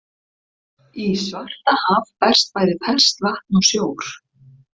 Í Svartahaf berst bæði ferskt vatn og sjór.